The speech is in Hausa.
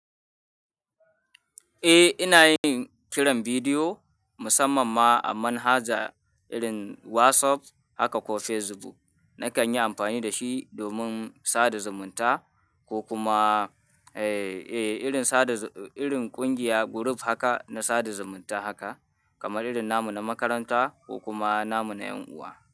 Eh, ina yin kiran bidiyo musamman ma a manhaja irin WhatsApp haka ko Facebook. Nakan yi amfani da shi domin sada zumunta ko kuma, eh, eh, irin sada, irin ƙungiya group haka na sada zumunta haka kamar irin namu na makaranta ko kuma namu na 'yan uwa.